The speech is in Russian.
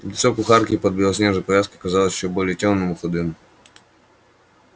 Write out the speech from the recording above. лицо кухарки под белоснежной повязкой казалось ещё более тёмным и худым